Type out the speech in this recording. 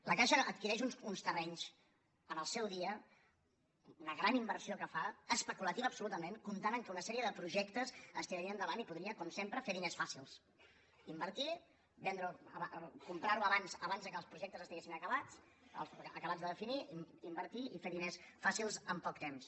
la caixa adquireix uns terrenys al seu dia una gran inversió que fa especulativa absolutament comptant que una sèrie de projectes es tirarien endavant i podria com sempre fer diners fàcils invertir comprar ho abans que els projectes estiguessin acabats acabats de definir invertir i fer diners fàcils en poc temps